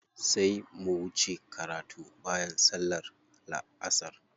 Sai mu wuce karatu bayan sallar la'asar.